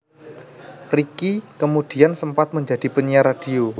Ricky kemudian sempat menjadi penyiar radio